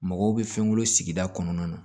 Mɔgɔw bɛ fɛnw bolo sigida kɔnɔna na